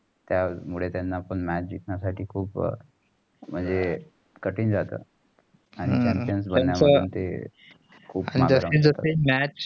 त्यामुळे त्यानं पण match जिकांची साठी खूप म्हणजे कठीण जात आणि खूप